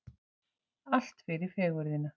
Allt fyrir fegurðina